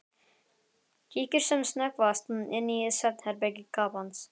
Kíkir sem snöggvast inn í svefnherbergi kappans.